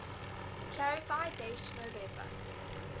clarify date november